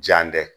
Jan dɛ